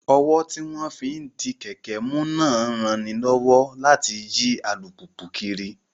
Ọ́wọ́ tí wọ́n fi ń di kẹ̀kẹ́ mú náà ń ranilọ́wọ́ láti yí alùpùpù kiri